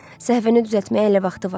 Səhvini düzəltməyə hələ vaxtı var.